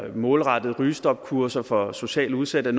målrettede rygestopkurser for socialt udsatte